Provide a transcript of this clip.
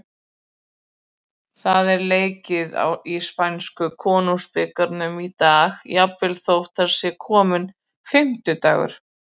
Það er leikið í spænsku Konungsbikarnum í dag, jafnvel þótt það sé kominn fimmtudagur.